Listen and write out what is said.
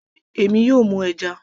èmi yóò mú ẹja